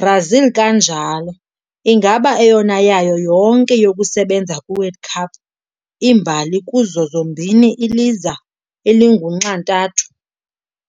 Brazil kanjalo ingaba eyona yayo yonke yokusebenza kwi World Cup imbali kuzo zombini iliza elingunxantathu